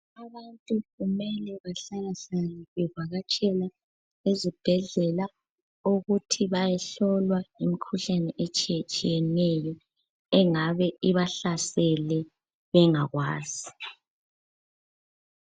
Abantu kumele bahlalahlale bevakatshela ezibhedlela ukuthi bayehlolwa imikhuhlane etshiyetshiyeneyo engabe ibahlasele bengakwazi.